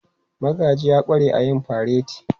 Magaji ya ƙware a yin fareti.